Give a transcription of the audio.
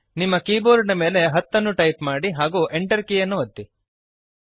ನಿಮ್ಮ ಕೀಬೋರ್ಡ್ ನ ಮೇಲೆ 10 ಅನ್ನು ಟೈಪ್ ಮಾಡಿರಿ ಹಾಗೂ Enter ಕೀಯನ್ನು ಒತ್ತಿರಿ